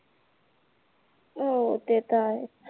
हम्म ते तर आहेच